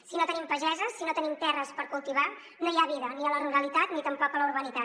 si no tenim pageses si no tenim terres per cultivar no hi ha vida ni a la ruralitat ni tampoc a la urbanitat